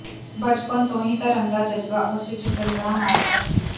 ਬਚਪਨ ਤੋਂ ਹੀ ਧਰਮ ਦਾ ਜਜ਼ਬਾ ਉਸ ਵਿੱਚ ਡਲ੍ਹਰਾਂ ਮਾਰਦਾ ਸੀ